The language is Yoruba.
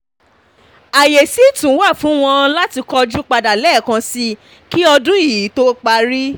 ààyè sì tún wà fún wọn láti kojú padà lẹ́ẹ̀kan sí kí ọdún ì tó parí